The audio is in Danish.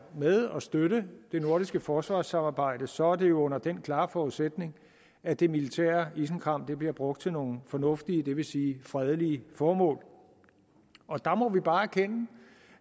med og støtte det nordiske forsvarssamarbejde så er det under den klare forudsætning at det militære isenkram bliver brugt til nogle fornuftige det vil sige fredelige formål og der må vi bare erkende